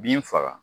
Bin faga